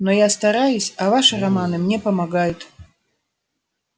но я стараюсь а ваши романы мне помогают